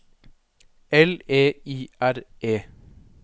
L E I R E